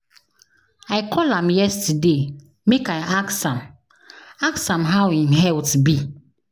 I call am yesterday make I ask am ask am how im health be.